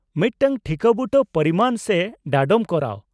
-ᱢᱤᱫᱴᱟᱝ ᱴᱷᱤᱠᱟᱹᱵᱩᱴᱟᱹ ᱯᱚᱨᱤᱢᱟᱱ ᱨᱮ ᱰᱟᱸᱰᱚᱢ ᱠᱚᱨᱟᱣ ᱾